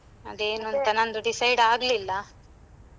ಅದೇ ಏನಂತ ಅದೇ ನಂದು decide ಆಗ್ಲಿಲ್ಲ.